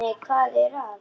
Nei, hvað er að?